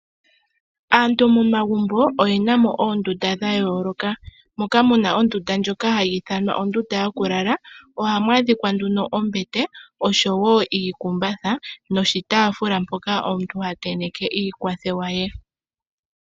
Aantu momagumbo oye na mo oondunda dha yooloka. Moka mu na ondunda ndjika hayi ithanwa ondunda yokulala, ihamu adhika nduno ombete oshowo iikumbatha noshitaafula mpoka omuntu ha tenteke iikwathewa ye.